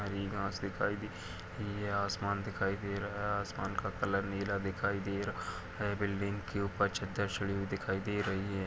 हरी घास दिखाई दे रही है। आसमान दिखाई दे रहा है। आसमान का कलर नीला दिखाई दे रहा है। बिल्डिंग के ऊपर चद्दर चढ़ी हुई दिखाई दे रही है।